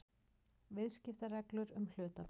Viðskiptabréfsreglur um hlutabréf.